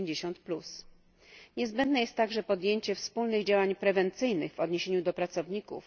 50. Niezbędne jest także podjęcie wspólnych działań prewencyjnych w odniesieniu do pracowników.